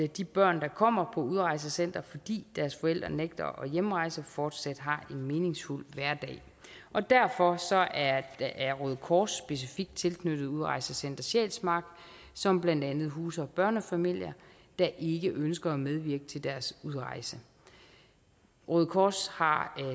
de børn der kommer på udrejsecenter fordi deres forældre nægter at hjemrejse fortsat har en meningsfuld hverdag og derfor er røde kors specifikt tilknyttet udrejsecenter sjælsmark som blandt andet huser børnefamilier der ikke ønsker at medvirke til deres udrejse røde kors har